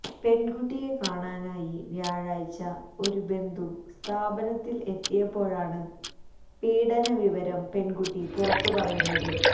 പെണ്കുട്ടിയെ കാണാനായി വ്യാഴാഴ്ച ഒര ബന്ധു സ്ഥാപനത്തില് എത്തിയപ്പോഴാണ് പീഡന വിവരം പെണ്കുട്ടി പുറത്ത് പറയുന്നത്